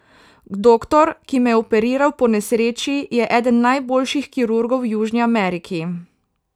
Doktor, ki me je operiral po nesreči, je eden najboljših kirurgov v Južni Ameriki.